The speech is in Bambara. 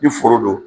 Ni foro don